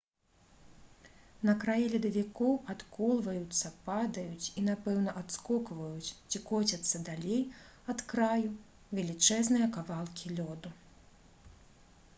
на краі ледавікоў адколваюцца падаюць і напэўна адскокваюць ці коцяцца далей ад краю велічэзныя кавалкі лёду